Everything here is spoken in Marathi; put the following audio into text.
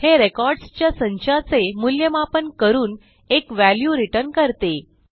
हे रेकॉर्डसच्या संचाचे मूल्यमापन करून एक व्हॅल्यू रिटर्न करते